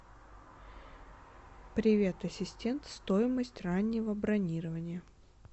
привет ассистент стоимость раннего бронирования